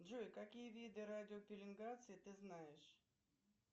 джой какие виды радиопеленгации ты знаешь